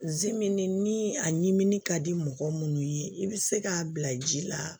ni a ɲimi ka di mɔgɔ munnu ye i bi se k'a bila ji la